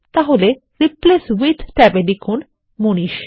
তাহলে replace with ট্যাবে লিখুনManish